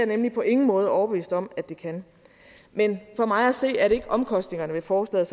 nemlig på ingen måde overbevist om at det kan men for mig at se er det ikke omkostningerne ved forslaget